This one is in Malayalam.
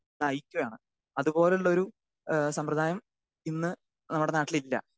സ്പീക്കർ 2 നയിക്കുകയാണ്. അതുപോലുള്ളൊരു ഏഹ് സമ്പ്രദായം ഇന്ന് നമ്മുടെ നാട്ടിലില്ല.